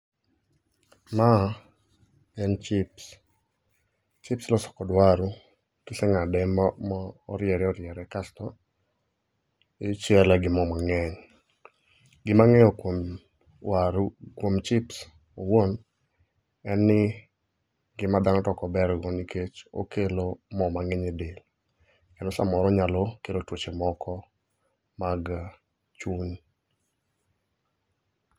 Ma en chips. Chips iloso kod waru, kisengáde mo, mo oriere oriere, kasto ichiele gi moo mangény. Gima angéyo kuom waru, kuom chips owuon, en ni, ngima dhano to ok ober go, nikech okelo moo mangény e del. Kendo saa moro onyalo kelo tuoche moko mag chuny.